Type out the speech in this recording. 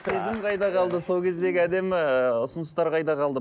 сезім қайда қалды сол кездегі әдемі ы ұсыныстар қайда қалды